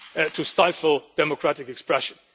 to stifle democratic expression.